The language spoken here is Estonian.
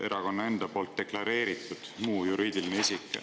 "Erakonna enda poolt deklareeritud muu juriidiline isik.